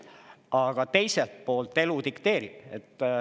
Aga teiselt poolt elu dikteerib.